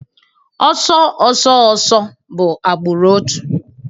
Ọsọ ọsọ ọsọ bụ agbụrụ otu